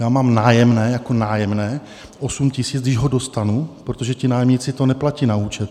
Já mám nájemné, jako nájemné 8 000, když ho dostanu, protože ti nájemníci to neplatí na účet.